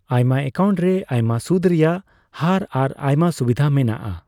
ᱟᱢᱭᱟ account ᱨᱮ ᱟᱭᱢᱟ ᱥᱩᱫ ᱨᱮᱭᱟᱜ ᱦᱟᱨ ᱟᱨ ᱟᱭᱢᱟ ᱥᱩᱵᱤᱫᱷ ᱢᱮᱱᱟᱜ ᱟ ᱾